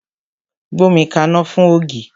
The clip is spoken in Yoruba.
Gbómi kaná fún ògì!